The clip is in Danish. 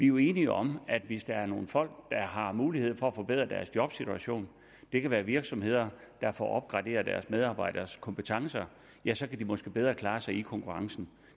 jo enige om at hvis der er nogle folk der har mulighed for at forbedre deres jobsituation det kan være virksomheder der får opgraderet deres medarbejderes kompetencer ja så kan virksomhederne måske bedre klare sig i konkurrencen